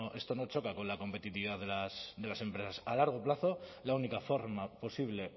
esto no choca con la competitividad de las empresas a largo plazo la única forma posible